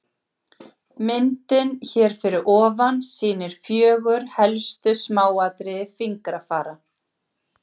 Myndin hér fyrir ofan sýnir fjögur helstu smáatriði fingrafara.